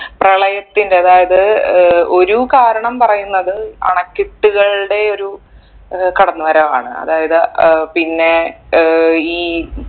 പ്രളയത്തിന്റെ അതായത് ഏർ ഒരു കാരണം പറയുന്നത് അണക്കെട്ടുകളുടെ ഒരു ഏർ കടന്ന് വരവാണ് അതായത് ഏർ പിന്നെ ഏർ ഈ